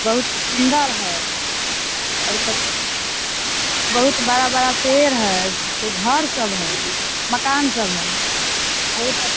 बहुत सुन्दर है और कुछ बहुत बड़ा-बड़ा पेड़ है घर सब है मकान सब है। बहुत अ --